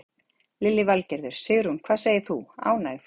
Lillý Valgerður: Sigrún, hvað segir þú, ánægð?